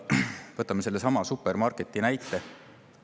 Võtame sellesama supermarketi näite.